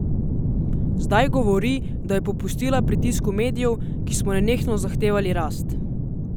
Zdaj govori, da je popustila pritisku medijev, ki smo nenehno zahtevali rast!